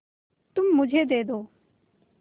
तुम मुझे दे दो